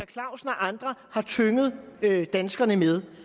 clausen og andre har tynget danskerne med